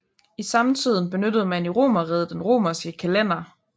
I samtiden benyttede man i Romerriget den romerske kalender